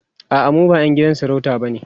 a'a mu ba ƴan gidan sarauta bane